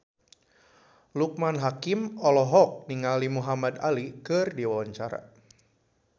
Loekman Hakim olohok ningali Muhamad Ali keur diwawancara